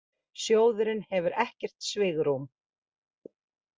Sjóðurinn hefur ekkert svigrúm